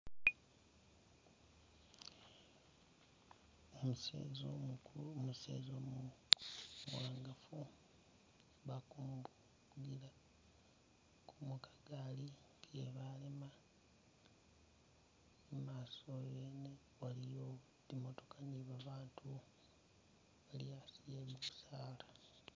Umuseza umukulu ,umuseza umuwangafu bakumuvugila ko mukagaali iye balema ,mumaaso yene waliwo zimotooka ni babaatu bali asi e'bisaala